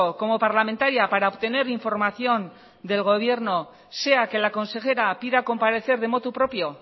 como parlamentaria para obtener información del gobierno sea que la consejera pida comparecer de motu propio